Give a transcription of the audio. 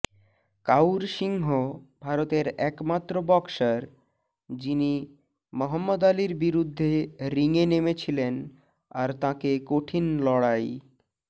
কাউর সিংহ ভারতের একমাত্র বক্সার যিনি মহম্মদ আলির বিরুদ্ধে রিংয়ে নেমেছিলেন আর তাঁকে কঠিন লড়াই